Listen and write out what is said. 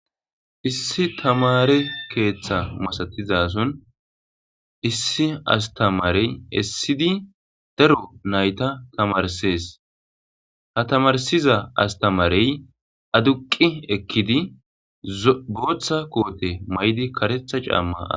Issi tamare keththa masatizason issi astamarey eessidi daaro naytta tammarsses ha tammarssiza asstamaarey adduqqi ekkidi bootha koote mayidi kareththa caama aththidi...